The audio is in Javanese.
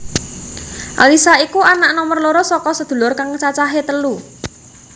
Alyssa iku anak nomer loro saka sedulur kang cacahé telu